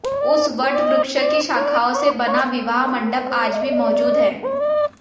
उस वट वृक्ष की शाखाओं से बना विवाह मंडप आज भी मौजूद है